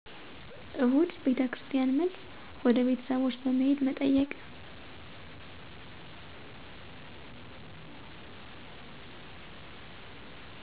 እሁድ ቤተክርስቲያን መልስ፣ ወደ ቤተሰቦች በመሄድ መጠየቅ።